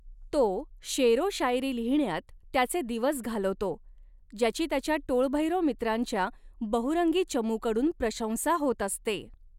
तो शेर ओ शायरी लिहिण्यात त्याचे दिवस घालवतो, ज्याची त्याच्या टोळभैरव मित्रांच्या बहुरंगी चमूकडून प्रशंसा होत असते.